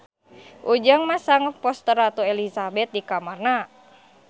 Ujang masang poster Ratu Elizabeth di kamarna